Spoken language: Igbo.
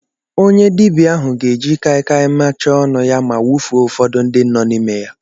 Onye dibịa ahụ ga-eji kai kai macha ọnụ ya ma wụfuo ụfọdụ ndị nọ n'ime ya.